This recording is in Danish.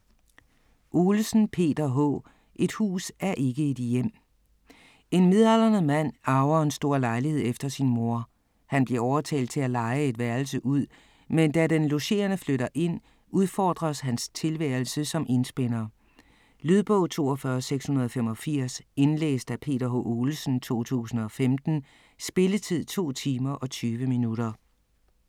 Olesen, Peter H.: Et hus er ikke et hjem En midaldrende mand arver en stor lejlighed efter sin mor. Han bliver overtalt til at leje et værelse ud, men da den logerende flytter ind udfordres hans tilværelse som enspænder. Lydbog 42685 Indlæst af Peter H. Olesen, 2015. Spilletid: 2 timer, 20 minutter.